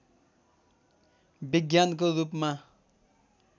विज्ञानको रूपमा